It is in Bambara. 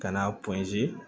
Ka n'a